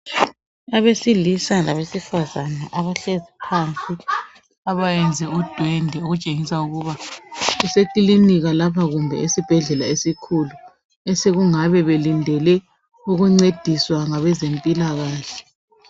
Abesilisa labesifazane abahlezi phansi abayenze udwendwe kutshengisa ukuthi kusekilinika lapha kumbe esibhedlela esikhulu osokungabe belindele ukuncediswa ngabezempilakahle.